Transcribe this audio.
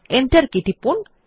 enter key টিপুন